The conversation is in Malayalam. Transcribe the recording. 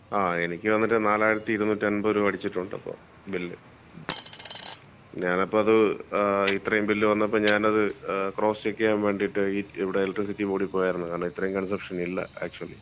ങാ, എനിക്ക് വന്നിട്ട് 4250 രൂപ അടിച്ചിട്ടുണ്ട് ഇപ്പൊ ബില്ല്. ഞാനപ്പോ അത് ങാ ഇത്രേം ബില്ല് വന്നപ്പോ ഞാനത് ക്രോസ്സ് ചെക്ക് ചെയ്യാൻ വേണ്ടീട്ട് ഈ ഇവിടെ എലെക്ട്രിസിറ്റി ബോർഡില് പോയാരുന്നു. കാരണം ഇത്രേം കൺസെപ്ഷൻ ഇല്ല ആക്ച്വലി.